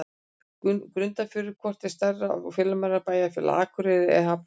Grundarfjörður Hvort er stærra og fjölmennara bæjarfélag, Akureyri eða Hafnarfjörður?